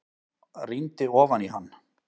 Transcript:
Rýndi ofan í hann.